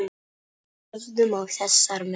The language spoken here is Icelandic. Horfðum á þessar hendur.